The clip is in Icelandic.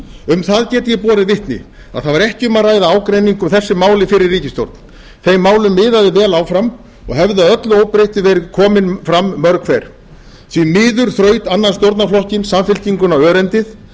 um það get ég borið vitni að það var ekki um að ræða ágreining um þessi mál í fyrri ríkisstjórn þeim málum miðaði vel áfram og hefði að öllu óbreyttu verið komin fram mörg hver því miður þraut annan stjórnarflokkinn samfylkinguna örendið